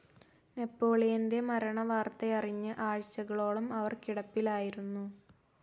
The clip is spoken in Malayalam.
നെപ്പോളിയൻ്റെ മരണവാർത്തയറിഞ്ഞ് ആഴ്ചകളോളം അവർ കിടപ്പിലായിരുന്നു.